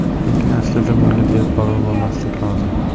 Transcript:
Lekin aslida bunga beparvo bo‘lmaslik lozim.